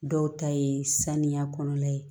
Dɔw ta ye saniya kɔnɔna ye